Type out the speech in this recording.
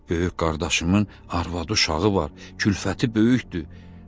Böyük qardaşımın arvadı, uşağı var, külfəti böyükdür.